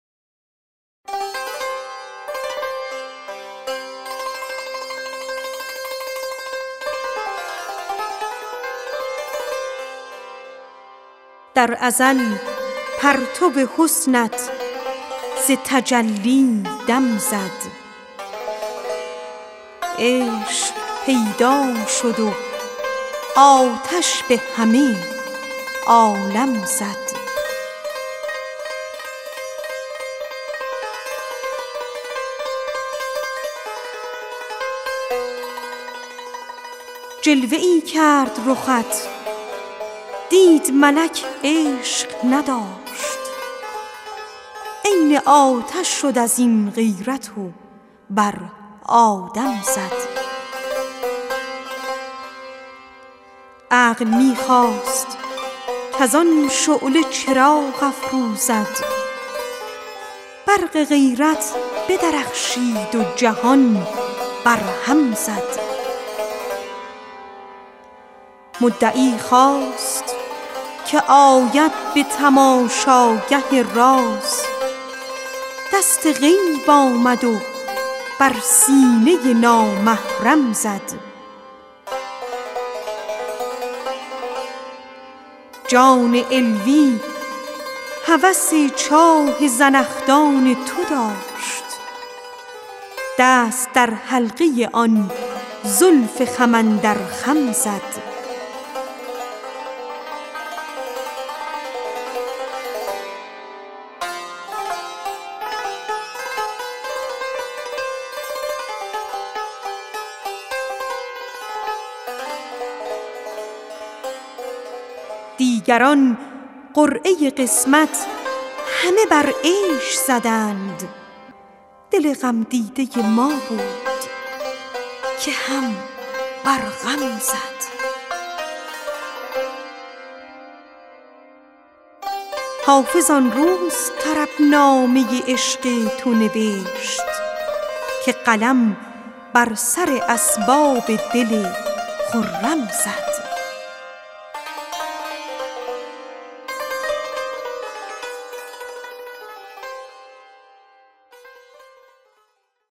در ازل پرتو حسنت ز تجلی دم زد عشق پیدا شد و آتش به همه عالم زد جلوه ای کرد رخت دید ملک عشق نداشت عین آتش شد از این غیرت و بر آدم زد عقل می خواست کز آن شعله چراغ افروزد برق غیرت بدرخشید و جهان برهم زد مدعی خواست که آید به تماشاگه راز دست غیب آمد و بر سینه نامحرم زد دیگران قرعه قسمت همه بر عیش زدند دل غمدیده ما بود که هم بر غم زد جان علوی هوس چاه زنخدان تو داشت دست در حلقه آن زلف خم اندر خم زد حافظ آن روز طربنامه عشق تو نوشت که قلم بر سر اسباب دل خرم زد